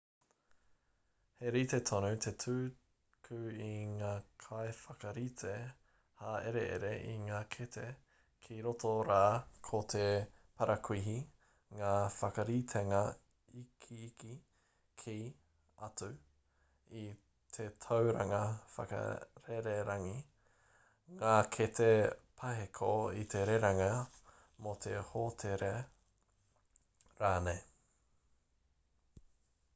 he rite tonu te tuku a ngā kaiwhakarite hāereere i ngā kete kei roto rā ko te parakuihi ngā whakaritenga ikiiki ki/atu i te tauranga wakarererangi ngā kete paheko i te rerenga me te hōtēra rānei